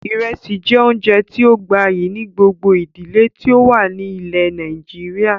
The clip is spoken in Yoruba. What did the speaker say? Ìrẹsì jẹ́ oúnjẹ tíì ó gbayyi ni gbogbo ìdílé tí ó wà ní ilẹ́ Nàìjíríà